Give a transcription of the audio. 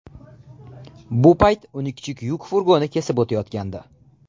Bu payt uni kichik yuk furgoni kesib o‘tayotgandi.